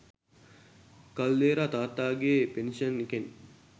කල්දේරා තාත්තගේ පෙන්ෂන් එකෙන්